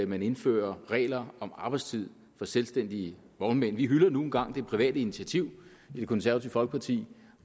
man indfører regler om arbejdstid for selvstændige vognmænd vi hylder nu engang det private initiativ i det konservative folkeparti